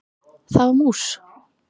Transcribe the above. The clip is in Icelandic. Það var mús!